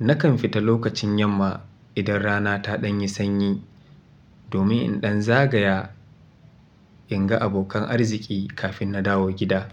Nakan fita lokacin yamma idan rana ta ɗan yi sanyi domin in ɗan zagaya in ga abokan arziki kafin na dawo gida.